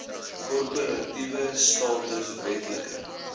korporatiewe status wetlike